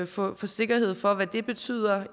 få sikkerhed for hvad det betyder